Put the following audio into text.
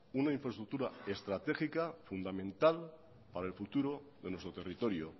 una infraestructura estratégica fundamental para el futuro de nuestro territorio